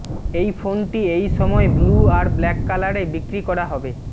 এই ফোনটি এই সময়ে ব্লু আর ব্ল্যাক কালারে বিক্রি করা হবে